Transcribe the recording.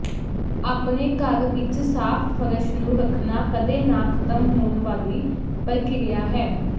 ਆਪਣੇ ਘਰ ਵਿੱਚ ਸਾਫ਼ ਫ਼ਰਸ਼ ਨੂੰ ਰੱਖਣਾ ਕਦੇ ਨਾ ਖ਼ਤਮ ਹੋਣ ਵਾਲੀ ਪ੍ਰਕਿਰਿਆ ਹੈ